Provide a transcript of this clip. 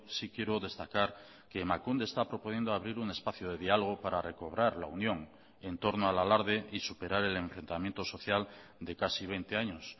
sí quiero destacar que emakunde está proponiendo abrir un espacio de diálogo para recobrar la unión en torno al alarde y superar el enfrentamiento social de casi veinte años